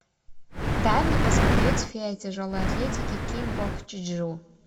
дай мне посмотреть фея тяжелой атлетики ким бок чжу